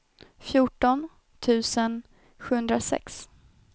fjorton tusen sjuhundrasex